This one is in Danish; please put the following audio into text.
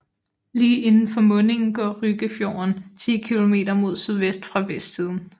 Lige indenfor mundingen går Ryggefjorden 10 kilometer mod sydvest fra vestsiden